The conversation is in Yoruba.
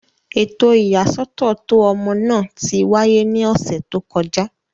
Eto iyasọtọ to ọmọ naa ti waye ni ọsẹ to kọja.